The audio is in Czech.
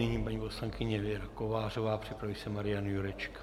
Nyní paní poslankyně Věra Kovářová, připraví se Marian Jurečka.